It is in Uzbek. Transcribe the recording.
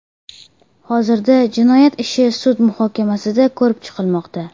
Hozirda jinoyat ishi sud muhokamasida ko‘rib chiqilmoqda.